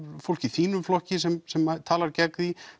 fólk í þínum flokki sem sem talar gegn því